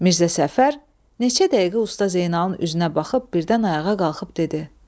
Mirzə Səfər neçə dəqiqə Usta Zeynalın üzünə baxıb birdən ayağa qalxıb dedi: